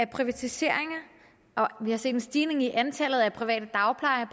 privatiseringer og vi har set en stigning i antallet af private dagplejer